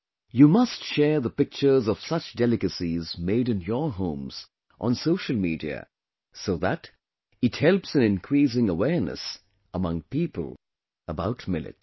You must share the pictures of such delicacies made in your homes on social media, so that it helps in increasing awareness among people about Millets